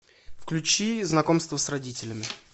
включи знакомство с родителями